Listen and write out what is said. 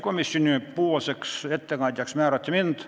Komisjonipoolseks ettekandjaks määrati mind.